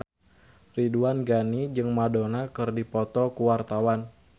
Ridwan Ghani jeung Madonna keur dipoto ku wartawan